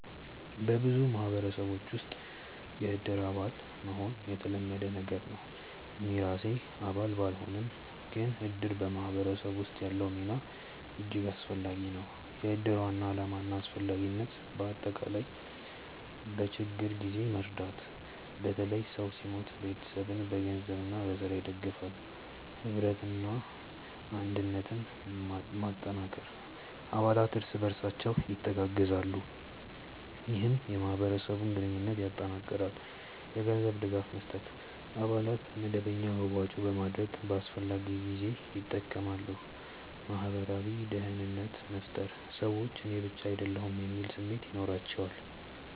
በብዙ ማህበረሰቦች ውስጥ “የእድር አባል” መሆን የተለመደ ነገር ነው። እኔ ራሴ አባል ባልሆንም፣ ግን እድር በማህበረሰብ ውስጥ ያለው ሚና እጅግ አስፈላጊ ነው። የእድር ዋና ዓላማና አስፈላጊነት በአጠቃላይ፦ በችግኝ ጊዜ መርዳት – በተለይ ሰው ሲሞት ቤተሰቡን በገንዘብና በሥራ ይደግፋል። ኅብረትና አንድነት መጠንከር – አባላት እርስ በርሳቸው ይተጋገዛሉ፣ ይህም የማህበረሰብ ግንኙነትን ያጠናክራል። የገንዘብ ድጋፍ መስጠት – አባላት በመደበኛ መዋጮ በማድረግ በአስፈላጊ ጊዜ ይጠቀማሉ። ማህበራዊ ደህንነት መፍጠር – ሰዎች “እኔ ብቻ አይደለሁም” የሚል ስሜት ይኖራቸዋል